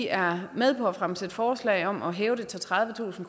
er med på at fremsætte forslag om at hæve det til tredivetusind